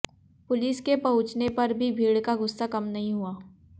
police के पहुॅंचने पर भी भीड़ का गुस्सा कम नहीं हुआ